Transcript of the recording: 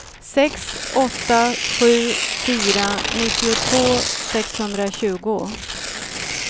sex åtta sju fyra nittiotvå sexhundratjugo